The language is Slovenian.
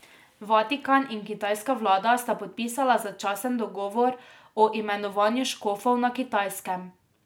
Vatikan in kitajska vlada sta podpisala začasen dogovor o imenovanju škofov na Kitajskem.